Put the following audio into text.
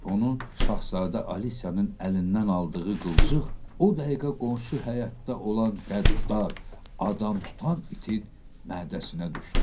Onun Şahzadə Alisyanın əlindən aldığı qılçıq o dəqiqə qonşu həyətdə olan qəddar adam tutan itin mədəsinə düşdü.